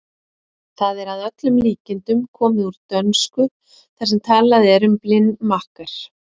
Það er að öllum líkindum komið úr dönsku þar sem talað er um blind makker.